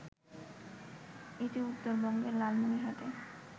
এটি উত্তরবঙ্গের লালমনিরহাটে